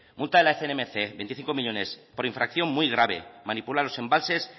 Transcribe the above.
multa de la cnmc veinticinco millónes por infracción muy grave manipula los embalses